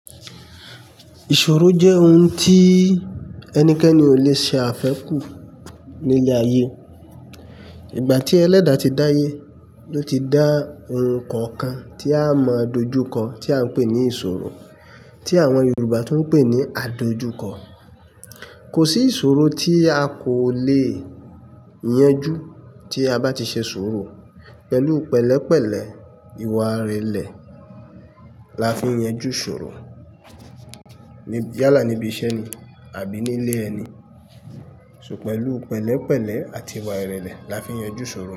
Ìṣòro jẹ́ oun tí ẹnikẹ́ni ò lè ṣe àfẹ́ kù ní ilẹ̀ ayé. Ìgbà tí ẹlẹ́dà ti dáyé, ló ti dá oun kọ̀ọ̀kan tí a mọ dojúkọ, tí à ń pè ní ìṣòro, tí àwọn Yorùbá tún ń pè ní àdojúkọ. Kò sí ìṣòro tí a kò lè yanjú tí a bá ti ṣe sọ́rọ̀. Pẹ̀lú pẹ̀lẹ́ pẹ̀lẹ́, ìwà ìrẹ̀lẹ̀ la fi ń yanjú ìṣòro. Yálà níbi iṣẹ́ ni àbí nílé ẹni. So pẹ̀lú pẹ̀lẹ́ pẹ̀lẹ́ àti ìwà ìrẹ̀lẹ̀ la fi ń yanjú ìṣòro.